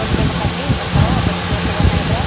в прошлые выходные со второго по четвёртое ноября